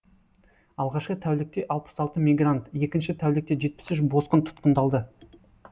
алғашқы тәулікте алпыс алты мигрант екінші тәулікте жетпіс үш босқын тұтқындалды